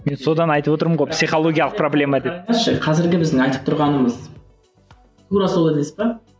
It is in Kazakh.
мен содан айтып отырмын ғой психологиялық проблема деп қазіргі біздің айтып тұрғанымыз тура сол емес пе